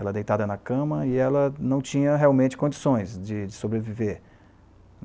Ela deitada na cama e ela não tinha realmente condições de de sobreviver.